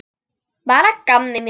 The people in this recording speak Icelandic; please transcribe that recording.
Bara að gamni mínu.